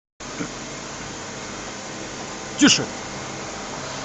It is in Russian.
тише